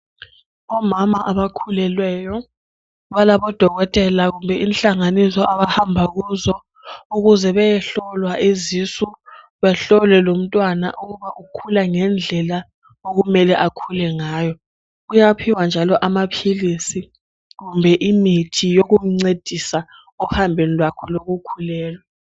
Omama abakhulelweyo ,balabodokotela kumbe inhlanganiso abahamba kuzo .Ukuze beyehlolwa izisu ,behlolwe lomntwana ukuba ukhula ngendlela okumele akhule ngayo. Kuyaphiwa njalo amaphilisi kumbe imithi yokumncedisa ehambweni kwakhe lokukhulelwa.